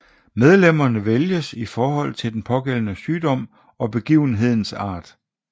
Medlemmerne vælges i henhold til den pågældende sygdom og begivenhedens art